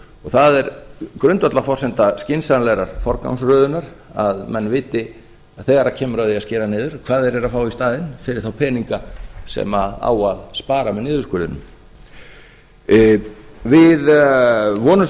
það er grundvallarforsenda skynsamlegrar forgangsröðunar að menn viti þegar kemur að því að skera niður hvað þeir eru að fá í staðinn fyrir þá peninga sem á að spara með niðurskurðinum við vonumst